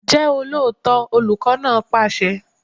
Jẹ́ olóòótọ́! Olùkọ́ náà pàṣẹ.